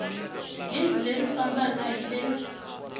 gezi leri fambaka hi le